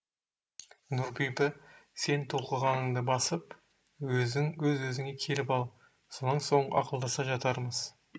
нұрбибі сен толқығаныңды басып өз өзіңе келіп ал сонан соң ақылдаса жатармыз